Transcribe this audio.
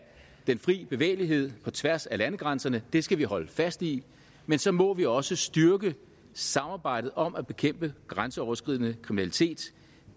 den frie bevægelighed på tværs af landegrænserne det skal vi holde fast i men så må vi også styrke samarbejdet om at bekæmpe grænseoverskridende kriminalitet